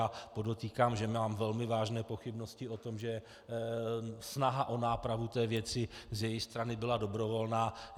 Já podotýkám, že mám velmi vážné pochybnosti o tom, že snaha o nápravu té věci z její strany byla dobrovolná.